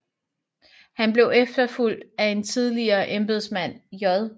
Han blev efterfulgt af en tidligere embedsmand J